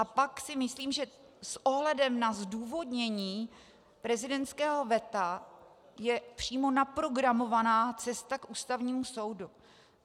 A pak si myslím, že s ohledem na zdůvodnění prezidentského veta je přímo naprogramovaná cesta k Ústavnímu soudu.